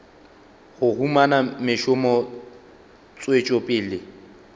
go humana mešomo tswetšo pele